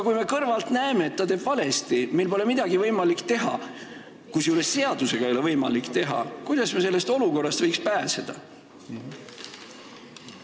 Kui me aga kõrvalt näeme, et tehakse valesti ja meil pole võimalik midagi teha, kusjuures ka seaduse järgi ei ole võimalik midagi teha, siis kuidas me võiksime sellest olukorrast pääseda?